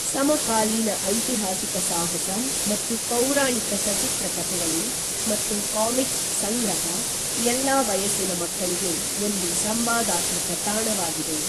ಸಮಕಾಲೀನ ಐತಿಹಾಸಿಕ ಸಾಹಸ ಮತ್ತು ಪೌರಾಣಿಕ ಸಚಿತ್ರ ಕಥೆಗಳು ಮತ್ತು ಕಾಮಿಕ್ಸ್ ಸಂಗ್ರಹ ಎಲ್ಲಾ ವಯಸ್ಸಿನ ಮಕ್ಕಳಿಗೆ ಒಂದು ಸಂವಾದಾತ್ಮಕ ತಾಣವಾಗಿದೆ